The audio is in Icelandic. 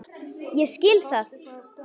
Ég skil það!